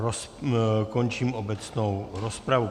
Končím obecnou rozpravu.